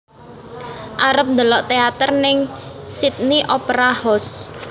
Arep ndelok teater ning Sydney Opera House